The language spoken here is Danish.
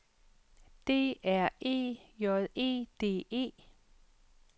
D R E J E D E